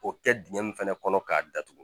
O kɛ dingɛ min fɛnɛ kɔnɔ k'a datugu